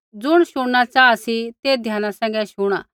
ज़ुण शुणना चाहा सी ते ध्याना सैंघै शुणा